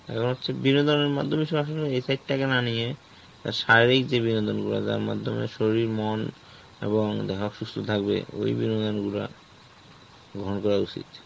এখন হচ্ছে বিনোদনের মাধ্যমে সব আসলে effect টাকে না নিয়ে, তার শারীরিক যে বিনোদন গুলো যার মাধ্যমে শরীর, মন, এবং থাকবে ওই বিনোদন গুলা, গ্রহণ করা উচিত.